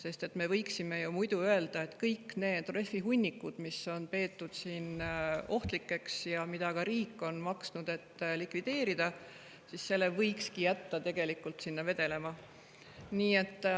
Muidu me võiksime ju öelda, et kõik need rehvihunnikud, mida on peetud ohtlikuks ja mille likvideerimise eest riik on ka maksnud, võikski jätta vedelema.